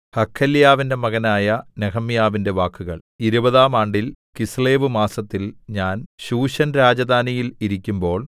ഹഖല്യാവിന്റെ മകനായ നെഹെമ്യാവിന്റെ വാക്കുകൾ ഇരുപതാം ആണ്ടിൽ കിസ്ലേവ് മാസത്തിൽ ഞാൻ ശൂശൻ രാജധാനിയിൽ ഇരിക്കുമ്പോൾ